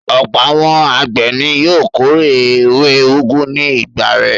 Ọ̀pọ̀ àwọn àgbẹ̀ ni yóò kórè ewé úgú ní ìgbà rẹ̀.